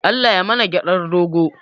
Allah yai mana gyaɗar dogo.